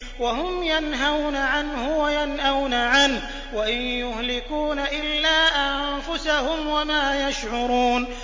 وَهُمْ يَنْهَوْنَ عَنْهُ وَيَنْأَوْنَ عَنْهُ ۖ وَإِن يُهْلِكُونَ إِلَّا أَنفُسَهُمْ وَمَا يَشْعُرُونَ